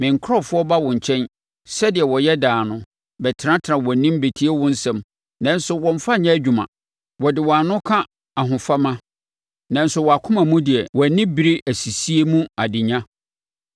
Me nkurɔfoɔ ba wo nkyɛn, sɛdeɛ wɔyɛ daa no, bɛtenatena wʼanim bɛtie wo nsɛm, nanso wɔmmfa nyɛ adwuma. Wɔde wɔn ano ka ahofama, nanso wɔn akoma mu deɛ wɔn ani bere asisie mu adenya.